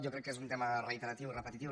jo crec que és un tema reiteratiu repetitiu